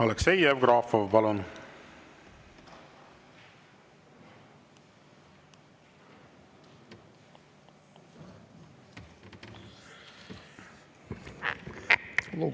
Aleksei Jevgrafov, palun!